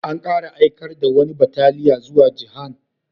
An kara aikar da wani bataliya zuwa Jihan.